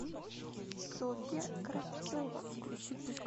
софья кравцова